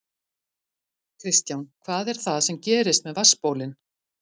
Kristján: Hvað er það sem gerist með vatnsbólin?